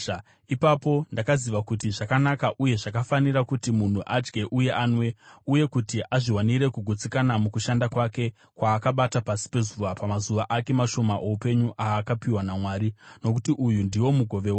Ipapo ndakaziva kuti zvakanaka uye zvakafanira kuti munhu adye uye anwe, uye kuti azviwanire kugutsikana mukushanda kwake kwaakabata pasi pezuva pamazuva ake mashoma oupenyu aakapiwa naMwari, nokuti uyu ndiwo mugove wake.